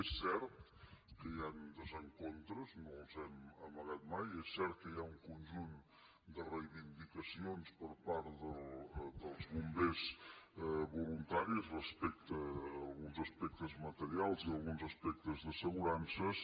és cert que hi han desencontres no els hem amagat mai és cert que hi ha un conjunt de reivindicacions per part dels bombers voluntaris respecte a alguns aspectes materials i alguns aspectes d’assegurances